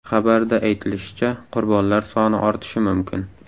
Xabarda aytilishicha, qurbonlar soni ortishi mumkin.